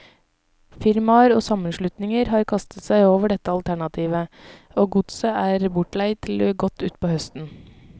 Firmaer og sammenslutninger har kastet seg over dette alternativet, og godset er bortleid til godt utpå høsten.